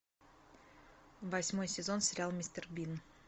восьмой сезон сериал мистер бин